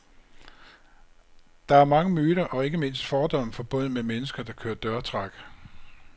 Der er mange myter og ikke mindst fordomme forbundet med mennesker, der kører dørtræk.